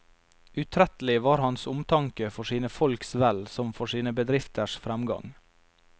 Utrettelig var hans omtanke for sine folks vel som for sine bedrifters fremgang.